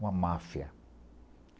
Uma máfia.